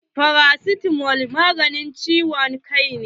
Farasitamo maganin ciwon kai ne.